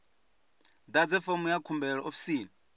ḓadze fomo ya khumbelo ofisini